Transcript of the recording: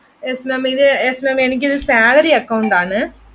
yes maam ഇത് yes maam എനിക്കിത് salary അക്കൗണ്ടാണ്